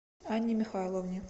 анне михайловне